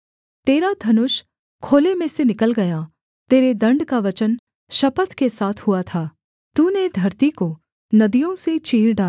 तेरा धनुष खोल में से निकल गया तेरे दण्ड का वचन शपथ के साथ हुआ था सेला तूने धरती को नदियों से चीर डाला